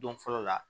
Don fɔlɔ la